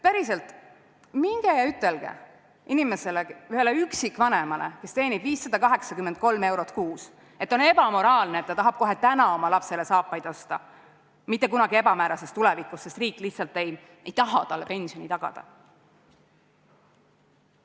Päriselt, minge ja ütelge ühele üksikvanemale, kes teenib 583 eurot kuus, et on ebamoraalne, et ta tahab kohe täna oma lapsele saapaid osta, mitte kunagi ebamäärases tulevikus, sest riik lihtsalt ei taha talle pensioni tagada.